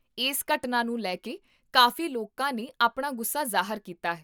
ਇਸ ਘਟਨਾ ਨੂੰ ਲੈ ਕੇ ਕਾਫ਼ੀ ਲੋਕਾਂ ਨੇ ਆਪਣਾ ਗੁੱਸਾ ਜ਼ਾਹਰ ਕੀਤਾ ਹੈ